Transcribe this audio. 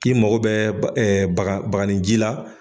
K i mako bɛ bagani ji la.